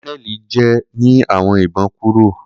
Kononeli jẹ ni awọn ibon kuro